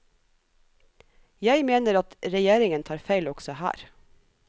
Jeg mener at regieringen tar feil også her.